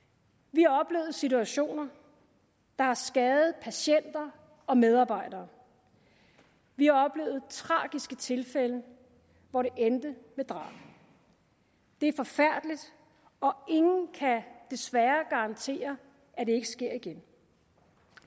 vi har oplevet situationer der har skadet patienter og medarbejdere vi har oplevet tragiske tilfælde hvor det endte med drab det er forfærdeligt og ingen kan desværre garantere at det ikke sker igen